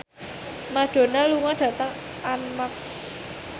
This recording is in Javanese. Madonna lunga dhateng Armargh